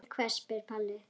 Til hvers spyr Palli.